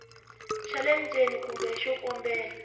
xa le ndzeni kumbe xikombelo